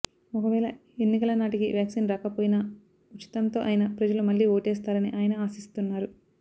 ఒకవేళ ఎన్నికల నాటికి వ్యాక్సిన్ రాకపోయినా ఉచితంతో అయినా ప్రజలు మళ్ళీ ఓటేస్తారని ఆయన ఆశిస్తున్నారు